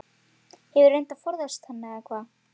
Hefurðu reynt að forðast hana eða hvað?